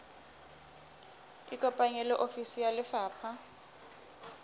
ikopanye le ofisi ya lefapha